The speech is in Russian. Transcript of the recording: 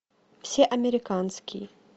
все американские